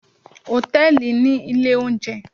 Hòtẹ́ẹ̀lì ní ilé oúnjẹ